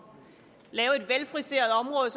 lave et velfriseret